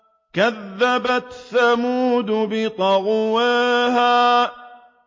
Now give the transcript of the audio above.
كَذَّبَتْ ثَمُودُ بِطَغْوَاهَا